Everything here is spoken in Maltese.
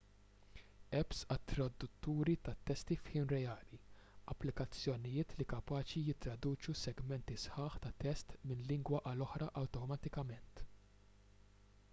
apps għat-tradutturi tat-testi f'ħin reali applikazzjonijiet li kapaċi jittraduċu segmenti sħaħ ta' test minn lingwa għal oħra awtomatikament